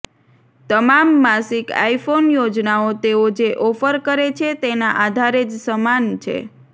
તમામ માસિક આઇફોન યોજનાઓ તેઓ જે ઓફર કરે છે તેના આધારે જ સમાન છે